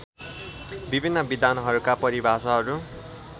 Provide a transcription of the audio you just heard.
विभिन्न विद्वानहरूका परिभाषाहरू